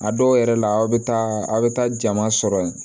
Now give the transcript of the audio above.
A dɔw yɛrɛ la aw bɛ taa aw bɛ taa jama sɔrɔ yen